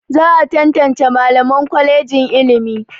Za a tantance Mallaman kwalejin ilimi.